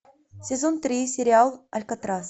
сезон три сериал алькатрас